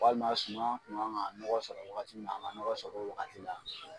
Walima suman kun kan ka nɔgɔ sɔrɔ wagati min na a ma ka nɔgɔ sɔrɔ o wagati na.